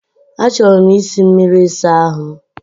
Achọrọ m isi mmiri ịsa ahụ m.